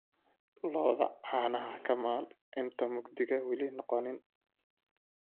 Lo'da canaha kamal inta mugdi wali noqonin